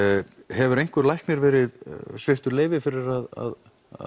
hefur einhver læknir verið sviptur leyfir fyrir að